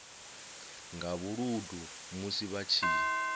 nga vhuludu musi vha tshi